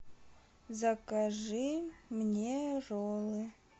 закажи мне роллы